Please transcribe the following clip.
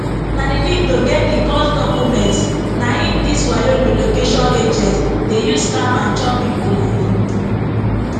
na di need to get di cos documents na im dis wayo relocation agents dey use scam and chop pipo money